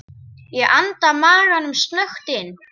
Ég anda maganum snöggt inn.